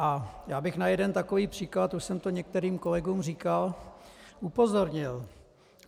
A já bych na jeden takový příklad, už jsem to některým kolegům říkal, upozornil.